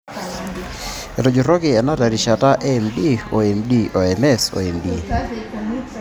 Etujurruoki ena terishata e M o MD o MS o MD.